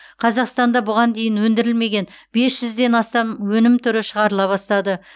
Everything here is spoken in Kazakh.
қазақстанда бұған дейін өндірілмеген бес жүзден астам өнім түрі шығарыла бастады